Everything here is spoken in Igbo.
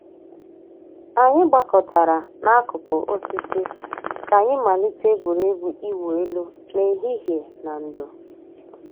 Ànyị̀ gbàkọ̀tárà n'àkùkò òsìsì kà ànyị̀ màlítè ègwè́régwụ̀ ị̀wụ̀ èlù n'èhìhìè nà ndò̩.